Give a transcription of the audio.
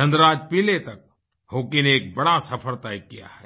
धनराज पिल्लई तक हॉकी ने एक बड़ा सफ़र तय किया है